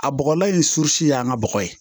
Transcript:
A bɔgɔlan in su y'an ka bɔgɔ ye